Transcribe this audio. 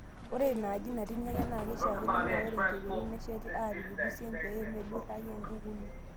Ore inaaji natii irnyanya, naa keishaakino naa ore enkeperut nesheti aapik ilusien pee meidurraki nkukuni.